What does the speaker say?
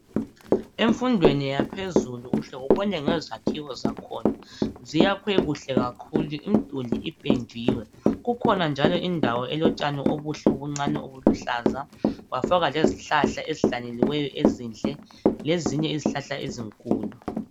Emfundweni yaphezulu uhle ubone ngezakhiwo zakhona ziyakhwe kuhle kakhulu imduli ipendiwe . Kukhona njalo indawo elotshani obuhle obuncani obuluhlaza kwafakwa lezihlahla ezihlanyeliweyo ezinhle lezinye izihlahla ezinkulu .